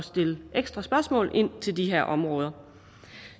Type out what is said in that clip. stille ekstra spørgsmål til de her områder